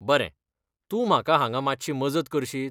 बरें ! तूं म्हाका हांगा मातशी मजत करशीत?